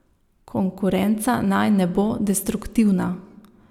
Konkurenca naj ne bo destruktivna.